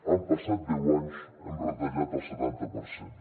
han passat deu anys hem retallat el setanta per cent